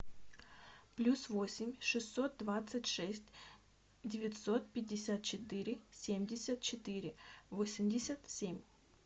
плюс восемь шестьсот двадцать шесть девятьсот пятьдесят четыре семьдесят четыре восемьдесят семь